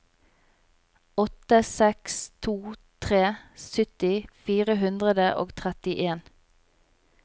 åtte seks to tre sytti fire hundre og trettien